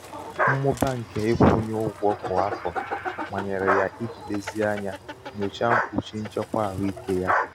um mmụba nke nkwunye ụgwọ kwa afọ manyere ya iji lezie ányá nyochaa mkpuchi nchekwa ahụike ya.